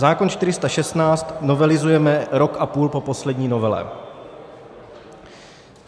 Zákon 416 novelizujeme rok a půl po poslední novele.